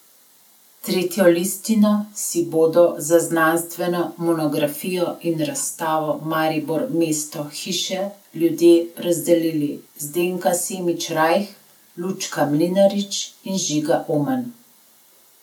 Tretjo listino si bodo za znanstveno monografijo in razstavo Maribor Mesto Hiše Ljudje razdelili Zdenka Semič Rajh, Lučka Mlinarič in Žiga Oman.